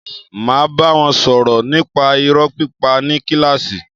Máa bá wọn sọ̀rọ̀ nípa irọ́ pípa ní kílàsì.